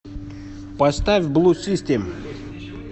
поставь блу систем